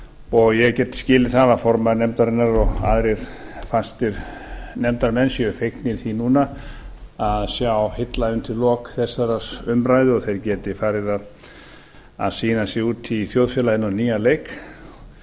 og ég get skilið það að formaður nefndarinnar og aðrir fastir nefndarmenn séu fegnir því núna að sjá hilla undir lok þessarar umræðu og þeir geti farið að sýna sig úti í þjóðfélaginu á nýjan